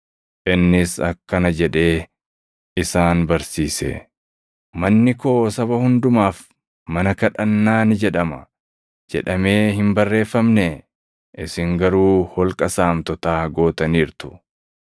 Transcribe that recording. Innis akkana jedhee isaan barsiise; “ ‘Manni koo saba hundumaaf mana kadhannaa ni jedhama’ + 11:17 \+xt Isa 56:7\+xt* jedhamee hin barreeffamnee? Isin garuu ‘Holqa saamtotaa’ + 11:17 \+xt Erm 11:7\+xt* gootaniirtu.”